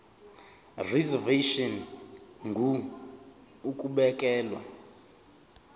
reservation ngur ukubekelwa